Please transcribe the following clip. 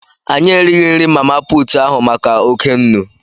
Anyị righị nri mama puutụ ahụ maka oké nnu.